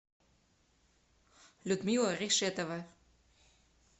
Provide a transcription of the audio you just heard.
людмила решетова